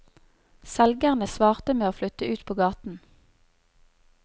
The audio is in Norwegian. Selgerne svarte med å flytte ut på gaten.